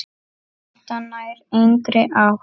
Þetta nær engri átt.